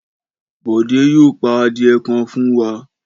Bọ̀dé yóò pa adìẹ kan fún wa.